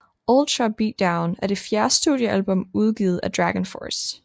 Ultra Beatdown er det fjerde studiealbum udgivet af Dragonforce